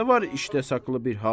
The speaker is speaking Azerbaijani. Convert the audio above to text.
səndə var işdə saqlı bir hal.